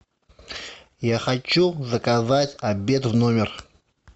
я хочу заказать обед в номер